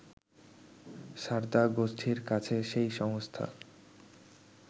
সারদা গোষ্ঠীর কাছে সেই সংস্থা